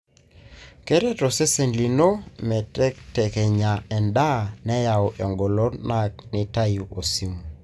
keret osesen lino metekekenya endaa, neyau engolon. na nitayu osumu.